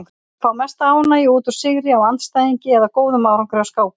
Þeir fá mesta ánægju út úr sigri á andstæðingi eða góðum árangri á skákmóti.